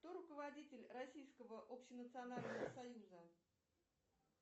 кто руководитель российского общенационального союза